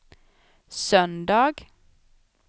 söndag